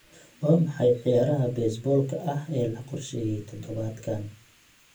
Waa maxay ciyaaraha baseball-ka ee la qorsheeyay todobaadkan?